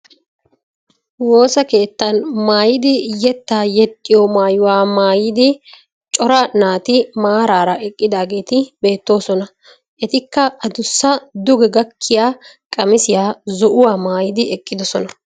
Woossa keettan maayidi yettaa yexxiyoo maayuwaa maayidi cora naati maaraara eqqidageti beettoosona. Etikka adussa duge gakkiyaa qamisiyaa zo"uwaa maayidi eqqidoosona.